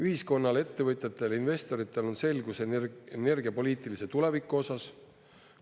Ühiskonnal, ettevõtjatel, investoritel on selgus energiapoliitilise tuleviku osas.